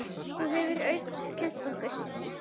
Það hefur Haukur kennt okkur.